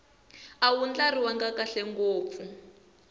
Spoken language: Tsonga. a wu ndlariwangi kahle ngopfu